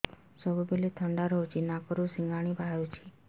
ସବୁବେଳେ ଥଣ୍ଡା ରହୁଛି ନାକରୁ ସିଙ୍ଗାଣି ବାହାରୁଚି